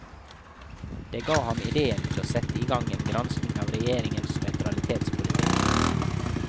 Det ga ham ideen til å sette i gang en granskning av regjeringens nøytralitetspolitik.